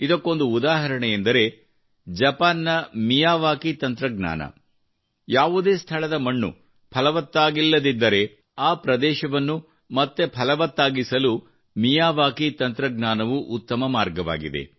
ಇದಕ್ಕೊಂದು ಉದಾಹರಣೆ ಎಂದರೆ ಜಪಾನ್ನ ಮಿಯಾವಾಕಿ ತಂತ್ರಜ್ಞಾನ ಯಾವುದೇ ಸ್ಥಳದ ಮಣ್ಣು ಫಲವತ್ತಾಗಿಲ್ಲದಿದ್ದರೆ ಆ ಪ್ರದೇಶವನ್ನು ಮತ್ತೆ ಫಲವತ್ತಾಗಿಸಲು ಮಿಯಾವಾಕಿ ತಂತ್ರಜ್ಞಾನವು ಉತ್ತಮ ಮಾರ್ಗವಾಗಿದೆ